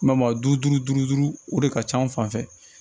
Ma duuru duuru o de ka ca an fan fɛ